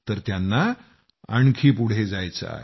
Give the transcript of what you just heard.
तर त्यांना आणखी पुढं जायचं आहे